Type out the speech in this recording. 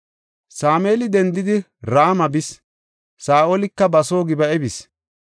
Sameeli dendidi, Rama bis; Saa7olika ba soo Gib7a bis.